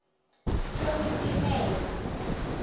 lolutimele